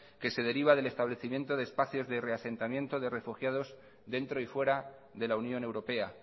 que se deriva del establecimiento de espacios de reasentamientos de refugiados dentro y fuera de la unión europea